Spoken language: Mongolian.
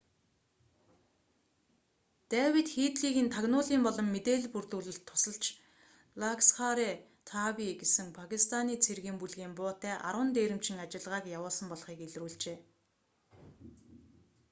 дэвид хээдлигийн тагнуулын болон мэдээлэл бүрдүүлэлт тусалж ласкхар-э-таиба гэсэн пакистианы цэргийн бүлгийн буутай 10 дээрэмчин ажиллагааг явуулсан болохыг илрүүлжээ